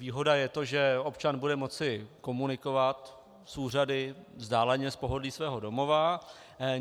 Výhoda je to, že občan bude moci komunikovat s úřady vzdáleně, z pohodlí svého domova.